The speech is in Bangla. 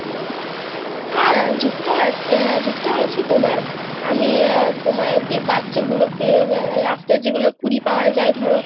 হ্যাঁ যুক্ত আছি আহ যুক্ত আছি তোমার, আমি তোমার যে বাচ্চা গুলোকে রাস্তার কুড়িয়ে পাওয়া যায় ধরো,